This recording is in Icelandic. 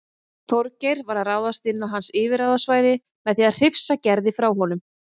Þorgeir var að ráðast inn á hans yfirráðasvæði með því að hrifsa Gerði frá honum.